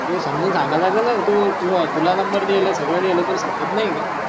तुल समजून संगलागल न तो तुल तुला नंबर देईल सागड देईल तुल समजत नाही का.